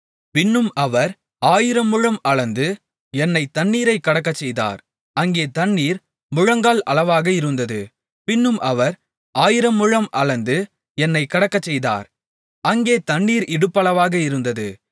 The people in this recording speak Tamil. பின்னும் அவர் ஆயிரமுழம் அளந்து என்னைத் தண்ணீரைக் கடக்கச்செய்தார் அங்கே தண்ணீர் முழங்கால் அளவாக இருந்தது பின்னும் அவர் ஆயிரமுழம் அளந்து என்னைக் கடக்கச்செய்தார் அங்கே தண்ணீர் இடுப்பளவாக இருந்தது